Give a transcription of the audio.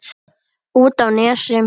Út á Nesi?